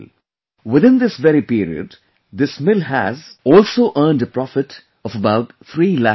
Within this very period, this mill has also earned a profit of about three lakh rupees